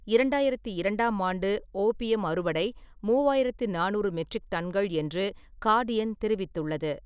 இரண்டாயிரத்தி இரண்டாம் ஆண்டு ஓபியம் அறுவடை மூவாயிரத்தி நானூறு மெட்ரிக் டன்கள் என்று கார்டியன் தெரிவித்துள்ளது.